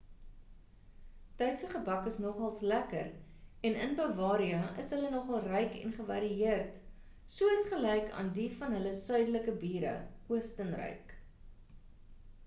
duitse gebak is nogals lekker en in bavaria is hulle nogal ryk en gevarieerd soortgelyk aan die van hulle suidelike bure oostenryk